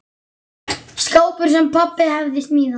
Skápur, sem pabbi hafði smíðað.